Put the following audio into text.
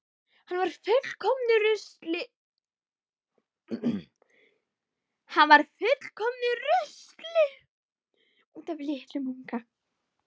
Hann var í fullkomnu rusli út af litlum unga.